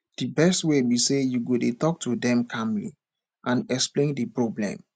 di best way be say you go dey talk to dem calmly and explain di problem